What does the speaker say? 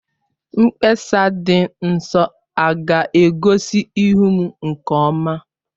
Mkpesa dị nso a ga-egosi ihu m nke ọma?